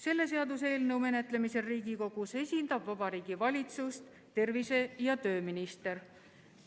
Selle eelnõu menetlemisel Riigikogus esindab Vabariigi Valitsust tervise- ja tööminister.